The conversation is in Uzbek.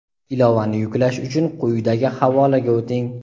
Ilovani yuklash uchun quyidagi havolaga o‘ting.